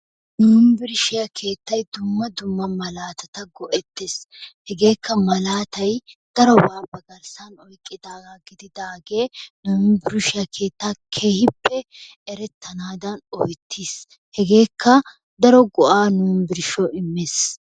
yunbburshshityaa keettay dumma dumma malatatta go''ettees. hegekka malatay daroba ba garssan oyqqidaaga gididaage yunbburshshiyaa keettan keehippe erettanadan koyyetiis. hegekka daro go''a nu gishshaw immiis.